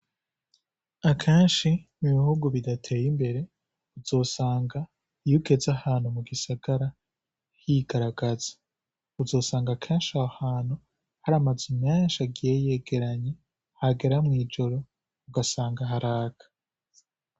Akenshi mu bihugu bidateye imbere uzosanga iyo ugeze ahantu mu gisagara higaragaza; uzosanga kenshi aho hantu hari amazu menshi agiye yegeranye, hagera mw'ijoro ugasanga haraka.